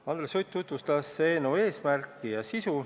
Andres Sutt tutvustas eelnõu eesmärki ja sisu.